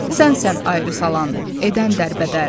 Sən sən ayrı salan, edən dərbədər.